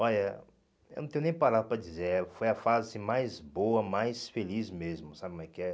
Olha, eu não tenho nem palavras para dizer, eh foi a fase mais boa, mais feliz mesmo, sabe como é que é?